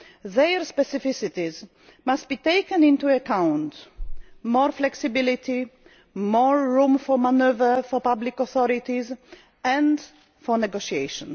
Their specificities must be taken into account more flexibility, more room for manoeuvre for public authorities and for negotiation.